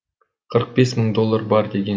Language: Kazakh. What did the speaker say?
қырық бес мың доллар бар деген